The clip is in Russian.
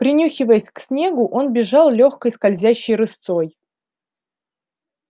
принюхиваясь к снегу он бежал лёгкой скользящей рысцой